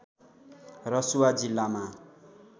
रसुवा जिल्लामा